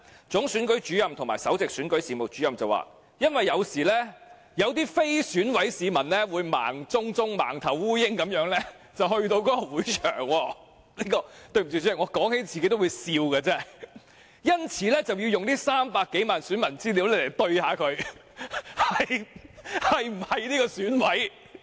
總選舉事務主任及首席選舉事務主任表示，因為有時有些非選委的市民會像盲頭蒼蠅般到達會場——對不起，主席，我提起都發笑——因此要用300多萬名選民資料來核對他們是否選委。